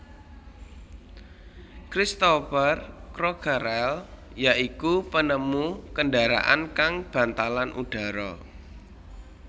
Cristopher Crockerel ya iku penemu kendharaan kang bantalan udhara